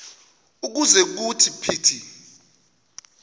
ukuze kuthi phithi